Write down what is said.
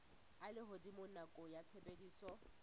a lehodimo nakong ya tshebediso